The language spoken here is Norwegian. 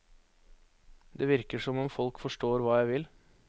Det virker som om folk forstår hva jeg vil.